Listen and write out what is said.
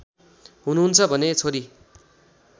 हुनुहुन्छ भने छोरी